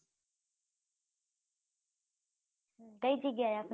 કઈ જગ્યા એ